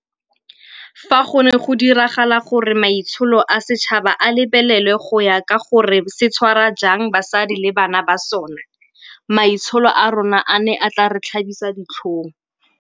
Fa go ne go diragala gore maitsholo a setšhaba a lebelelwa go ya ka gore se tshwara jang basadi le bana ba sona, maitsholo a rona a ne a tla re tlhabisa ditlhong.